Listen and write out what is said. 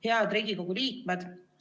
Head Riigikogu liikmed!